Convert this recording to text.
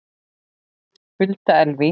Hulda Elvý.